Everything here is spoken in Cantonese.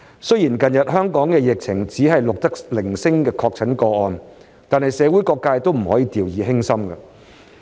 雖然近日香港只是錄得零星確診個案，但社會各界都不能掉以輕心。